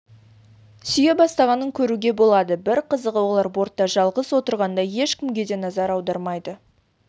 сүйе бастағанын көруге болады бір қызығы олар бортта жалғыз отырғандай ешкімге де назар аудармайды